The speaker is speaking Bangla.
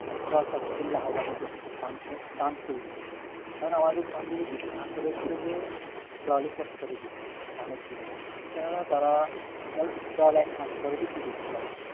তো দল চাষ করে লাভবান হচ্ছে কিন্তু ধান করে না এখন আমাদের সব মিলে হচ্ছে যে দলই চাষ করে বেশি ধানের থেকে কেননা তারা দল একমাস পরে বিক্রি করতে পারে